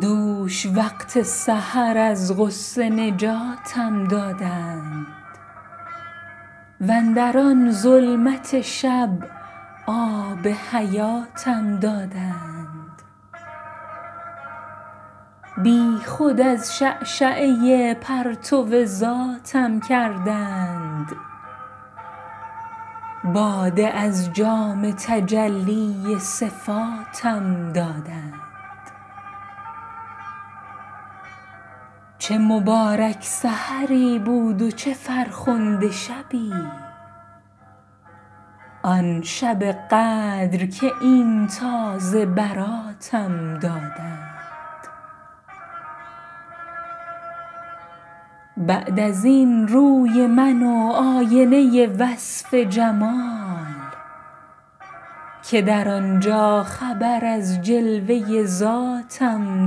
دوش وقت سحر از غصه نجاتم دادند واندر آن ظلمت شب آب حیاتم دادند بی خود از شعشعه پرتو ذاتم کردند باده از جام تجلی صفاتم دادند چه مبارک سحری بود و چه فرخنده شبی آن شب قدر که این تازه براتم دادند بعد از این روی من و آینه وصف جمال که در آن جا خبر از جلوه ذاتم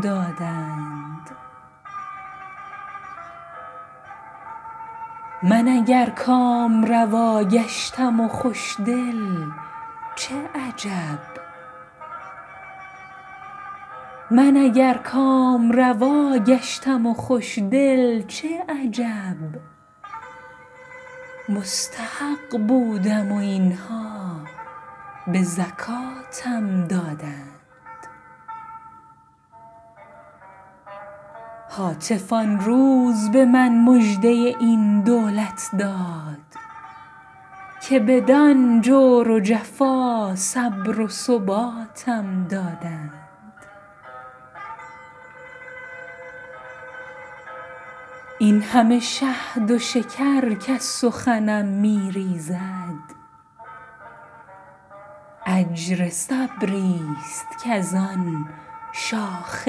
دادند من اگر کامروا گشتم و خوش دل چه عجب مستحق بودم و این ها به زکاتم دادند هاتف آن روز به من مژده این دولت داد که بدان جور و جفا صبر و ثباتم دادند این همه شهد و شکر کز سخنم می ریزد اجر صبری ست کز آن شاخ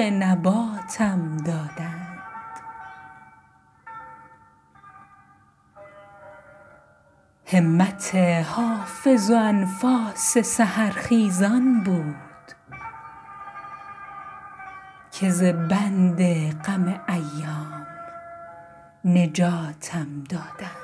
نباتم دادند همت حافظ و انفاس سحرخیزان بود که ز بند غم ایام نجاتم دادند